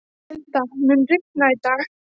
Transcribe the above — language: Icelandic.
Milda, mun rigna í dag?